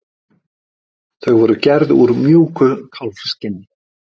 Þau voru gerð úr mjúku kálfskinni.